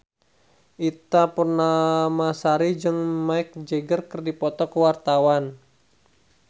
Ita Purnamasari jeung Mick Jagger keur dipoto ku wartawan